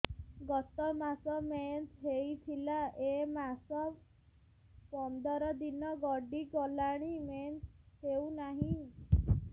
ଗତ ମାସ ମେନ୍ସ ହେଇଥିଲା ଏ ମାସ ପନ୍ଦର ଦିନ ଗଡିଗଲାଣି ମେନ୍ସ ହେଉନାହିଁ